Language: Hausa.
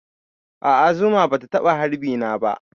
A'a zuma bata taɓa harbi na ba